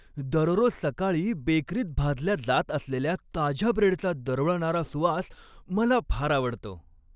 दररोज सकाळी बेकरीत भाजल्या जात असलेल्या ताज्या ब्रेडचा दरवळणारा सुवास मला फार आवडतो.